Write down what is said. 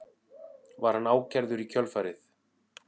Var hann ákærður í kjölfarið